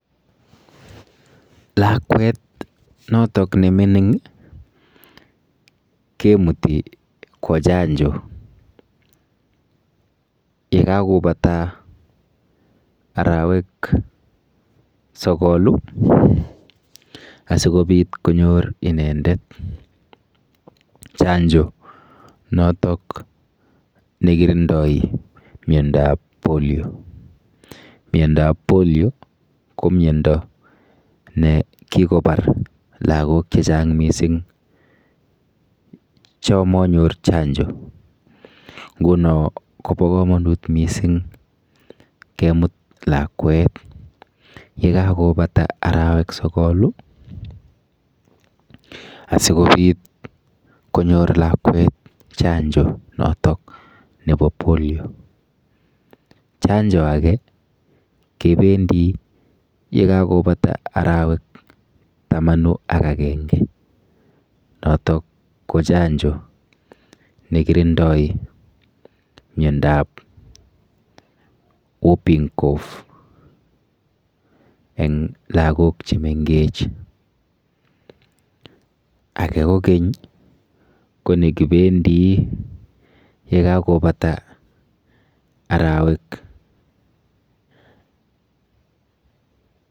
Lakwet notok nemining kemuti kwo chanjo yekakobata arowek sokol asikobit konyor inendet chanjo notok nakirindoi miandap polio, miondap polio ko miondo ne kikopar lakok che chang mising cho manyor chanjo nguno Kobo komonut mising kemut lakwet yekakobata arowek sokolu asikobit konyor lakwet chanjo notok nebo polio chanjo ake kebendi yekakobata arowek tamanu ak akenge noto ko chanjo nekirindoi miandap whooping cough eng lakok chemengech ake kokeny ko nekibendi yekakobata arowek.